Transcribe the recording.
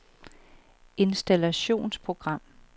installationsprogram